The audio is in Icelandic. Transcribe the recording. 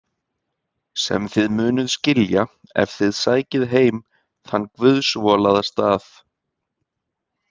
Sem þið munuð skilja ef þið sækið heim þann guðsvolaða stað.